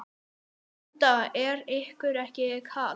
Linda: Er ykkur ekki kalt?